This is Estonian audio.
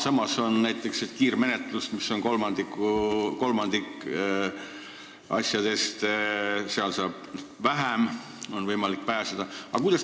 Samas on näiteks kiirmenetlus, see on kolmandik asjadest, seal saab väiksema karistuse, on võimalik kergemalt pääseda.